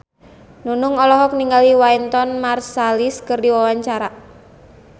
Nunung olohok ningali Wynton Marsalis keur diwawancara